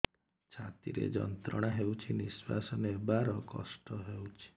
ଛାତି ରେ ଯନ୍ତ୍ରଣା ହେଉଛି ନିଶ୍ଵାସ ନେବାର କଷ୍ଟ ହେଉଛି